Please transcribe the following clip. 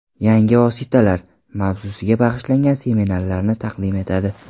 Yangi vositalar” mavzusiga bag‘ishlangan seminarlarni taqdim etadi.